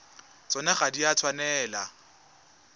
tsona ga di a tshwanela